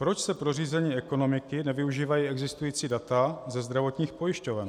Proč se pro řízení ekonomiky nevyužívají existující data ze zdravotních pojišťoven?